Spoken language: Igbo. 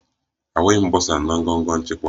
Ahụghị m bọsa na ngọngọ nchịkwa